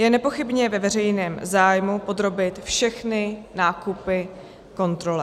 Je nepochybně ve veřejném zájmu podrobit všechny nákupy kontrole.